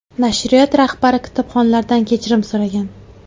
Nashriyot rahbari kitobxonlardan kechirim so‘ragan.